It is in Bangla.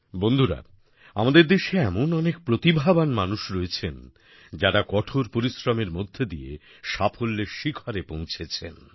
বন্ধুরা আমাদের দেশে এমন অনেক প্রতিভাবান মানুষ রয়েছেন যারা কঠোর পরিশ্রমের মধ্যে দিয়ে সাফল্যের শিখরে পৌঁছেছেন